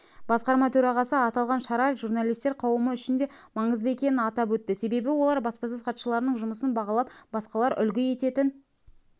басқарма төрағасы аталған шара журналистер қауымы үшін де маңызды екенін атап өтті себебі олар баспасөз хатшыларының жұмысын бағалап басқалар үлгі ететін